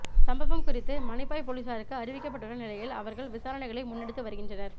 சம்பவம் குறித்து மானிப்பாய் பொலிஸாருக்கு அறிவிக்கப்பட்டுள்ள நிலையில் அவர்கள் விசாரணைகளை முன்னெடுத்து வருகின்றனர்